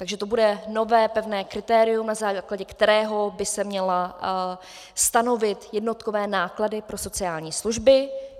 Takže to bude nové, pevné kritérium, na základě kterého by se měly stanovit jednotkové náklady pro sociální služby.